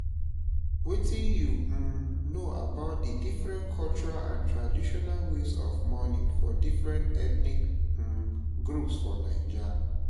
Wetin you um know about di cultural and traditional ways of mourning for different ethnic um groups for Naija?